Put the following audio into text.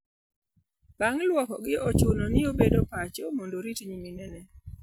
Bang' lwokogi, ochuno ni obed pacho mondo orit nyiminene.